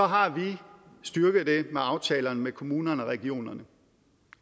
har vi styrket den med aftalerne med kommunerne og regionerne